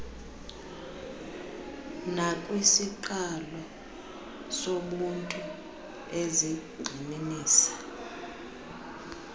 nakwisiqalo sobuntu ezigxininisa